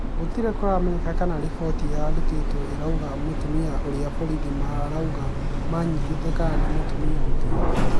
Gũtirĩ kũramenyeka kana riboti ĩrarutirwe ĩraũga mũtumia ũrĩa borithi maraũga manyitĩte kana nĩ mũtumia ungĩ.